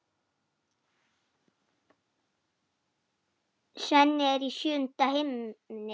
Svenni er í sjöunda himni.